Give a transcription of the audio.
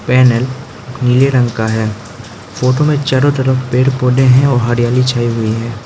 Panel नीले रंग का है फोटो में चारों तरफ पेड़ पौधे हैं और हरियाली छाई हुई है।